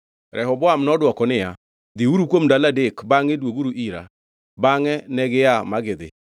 Rehoboam nodwoko niya, “Dhiuru kuom ndalo adek bangʼe dwoguru ira.” Bangʼe negia ma gidhi.